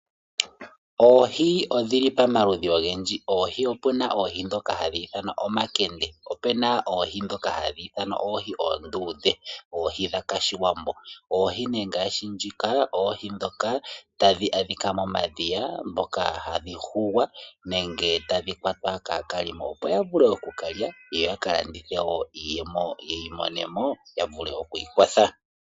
Oohi odhi li pamaludhi ogendji. Opu na oohi ndhoka hadhi ithanwa omakende, opu na oohi ndhoka hadhi ithanwa oohi oonduudhe oohi dhOshiwambo. Oohi ndhika oohi ndhoka tadhi adhika momadhiya tadhi hugwa, tadhi kwatwa kaakwashigwana, opo ya vule oku ka lya yo ka landithe ya mone mo iiyemo ya vule oku ikwatha.